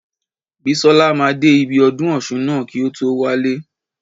Bísọ́la máa dé ibi ọdún ọ̀ṣun ná kí o tó wálé.